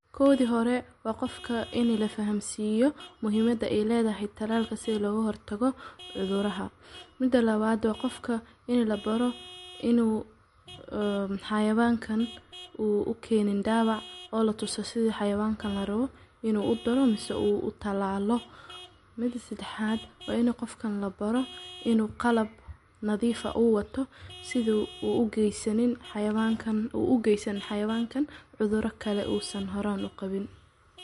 Koodi hore waa qofka in la fahamseyo muhiimada ileeda xitaaalka si loo hortago cuduraha. Mida 2 aad waa qofka in la baro inuu, aah, xayawaankan uuu u keenin daabac oo la tuso sidii xayawaankan la robo inuu u daroomiso uu u talaalo. Mida 3 aad waa inay qofkan la baro inuu qalab nadiifa uu wato siduu uu u geysanin xayawaankan uu u geysan xayawaankan cudurka kale uu san horran u qabin.